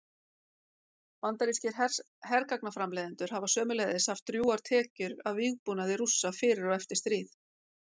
Bandarískir hergagnaframleiðendur hafa sömuleiðis haft drjúgar tekjur af vígbúnaði Rússa fyrir og eftir stríð.